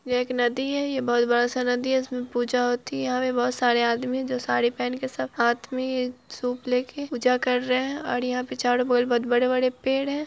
एक नदी है ये बोहत बड़ा-सा नदी है इसमें पूजा होती है यहाँ पे बोहत सारे आदमी हैं जो साड़ी पहन के सब हाथ में सूप लेके पूजा कर रहे है और यहाँ पे चारो और बोहत बड़े-बड़े पेड़ है।